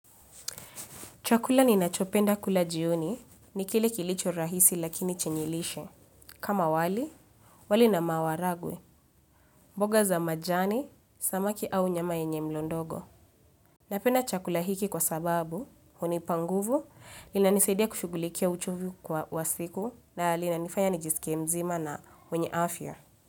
Chakula ninachopenda kula jioni ni kile kilicho rahisi lakini chenye lishe. Kama wali, wali na maharagwe, mboga za majani, samaki au nyama yenye mlo ndogo. Napenda chakula hiki kwa sababu, hunipa nguvu, inanisaidia kushughulikia uchovu kwa wa siku na linanifanya nijisikie mzima na mwenye afya.